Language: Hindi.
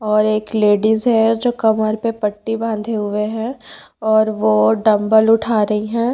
और एक लेडीज है जो कमर पे पट्टी बांधे हुए है और वो डंबल उठा रही है।